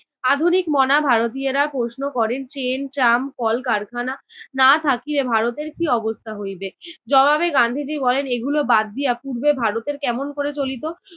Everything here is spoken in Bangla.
আধুনিকমনা ভারতীয়েরা প্রশ্ন করেন train ট্রাম কলকারখানা না থাকিলে ভারতের কী অবস্থা হইবে? জবাবে গান্ধীজি বলেন এগুলো বাদ দিয়া পূর্বে ভারতের কেমন করে চলিত?